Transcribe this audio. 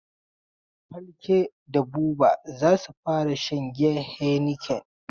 Falke da Buba za su fara shan giyan heineken.